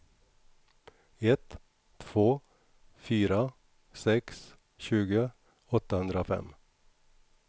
ett två fyra sex tjugo åttahundrafem